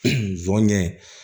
Sɔ ɲɛ